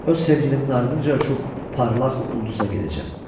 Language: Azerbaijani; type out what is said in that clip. Öz sevgilimin ardınca uçub parlaq ulduza gedəcəyəm.